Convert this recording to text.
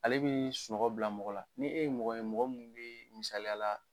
Ale bɛ sunɔgɔ bila mɔgɔ la, ni e ye mɔgɔ ye mɔgɔ minnu bɛ misaliya la